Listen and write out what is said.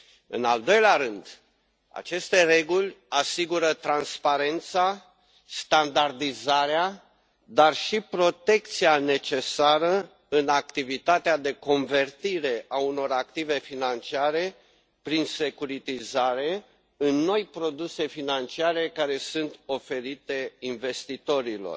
În al doilea rând, aceste reguli asigură transparența, standardizarea, dar și protecția necesară în activitatea de convertire a unor active financiare, prin securitizare, în noi produse financiare care sunt oferite investitorilor.